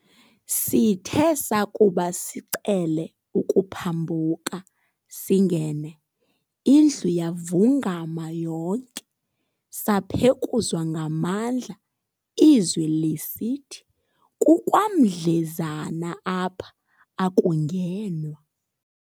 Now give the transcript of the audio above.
Sithe sakuba sicele ukuphambuka singene, indlu yavungama yonke saphekuzwa ngamandla izwi lisithi, "kukwamdlezana apha akungenwa."